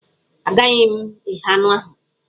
Agaghị m eghe anụ ahụ.